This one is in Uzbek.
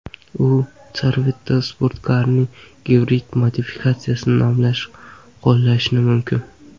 U Corvette sportkarining gibrid modifikatsiyasini nomlashda qo‘llanilishi mumkin.